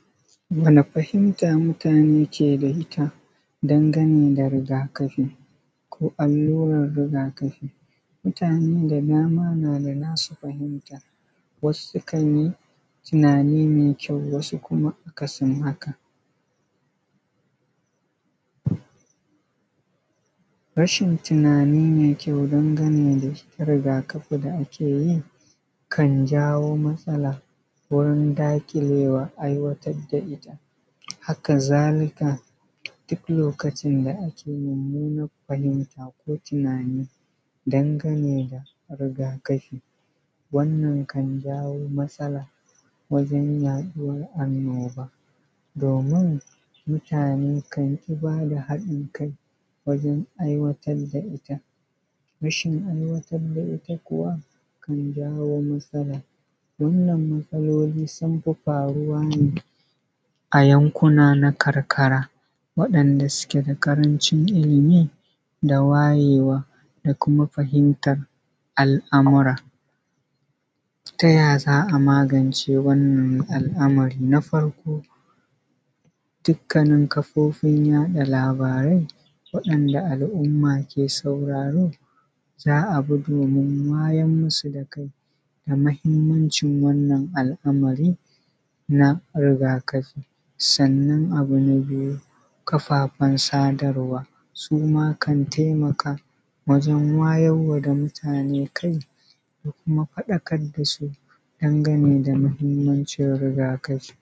Wani fahimta mutane ke da ita dangane da rigakafi? Ko allurar rigakafi? Mutane da dama nada nasu fahimta, wasu sukan yi tunani mai kyau, wasu kuma akasin haka. Rashin tunani mai kyau dangane da rigakafi da ake yi kan jawo matsala wajen daƙilewa aiwatar da ita, haka zalika duk lokacin da ke mummunan fahimta ko tunani, dangane da rigakafi, wannan kan jawo matsala wajen yaɗuwar annoba, domin mutane kan ki bada haɗin kai wajen aiwatar da ita kuwa kan jawo matsala, wannan matsaloli sun fi faruwa ne a yankuna na karkara, wadanda suke da ƙarancin ilimi da wayewa da kuma fahimtar al’amura. Ta yaya za a magance wannan al’amari? Na farko dukkanin kafofin yaɗa labarai, waɗanda al’umma ke sauraro, za a bi domin wayar musu da kai, ga mahimmancin wannan al’amari na rigakafi. Sannan abu na biyu, kafaffen sadarwa, suma kan taimaka wajen wayarwa da mutane kai, da kuma faɗakar dasu dangane da muhimmancin rigakafi.